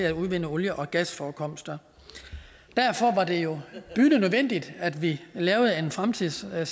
at udvinde olie og gasforekomster derfor var det jo bydende nødvendigt at vi lavede en fremtidssikret